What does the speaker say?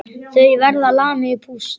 Þau verða lamin í púsl!